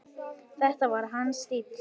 Þetta var hans stíll.